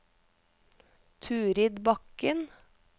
Turid Bakken